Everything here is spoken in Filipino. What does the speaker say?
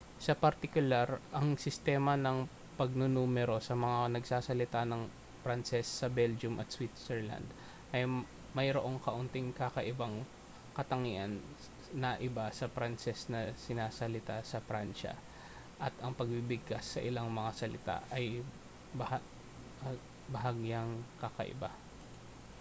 sa partikular ang sistema ng pagnunumero sa mga nagsasalita ng pranses sa belgium at switzerland ay mayroong kaunting kakaibang katangian na iba sa pranses na sinasalita sa pransya at ang pagbigkas sa ilang mga salita ay bahagyang kakaiba